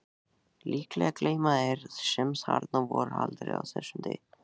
Líklega gleyma þeir sem þarna voru aldrei þessum degi.